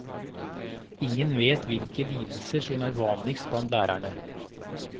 Ingen vet hvilke lidelser som er vanligst blant lærerne.